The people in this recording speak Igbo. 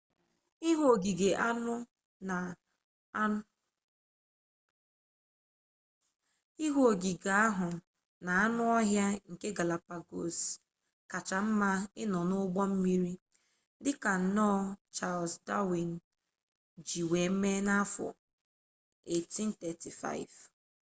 ihu ogige ahu na anu-ohia nke galapagos kacha nma ino n'ugbo mmiri dika nnoo charles darwin ji wee mee na-afo 1835